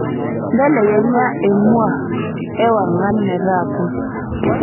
mbelekenya emua ewang'an metaa pus